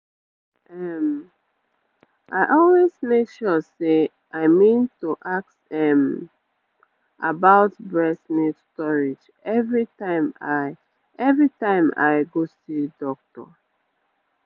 um i always make sure say i mean to ask um about breast milk storage everytime i everytime i go see doctor